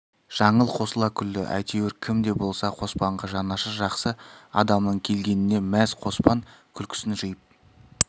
жаңыл қосыла күлді әйтеуір кім де болса қоспанға жанашыр жақсы адамның келгеніне мәз қоспан күлкісін жиып